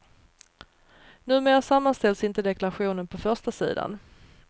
Numera sammanställs inte deklarationen på förstasidan.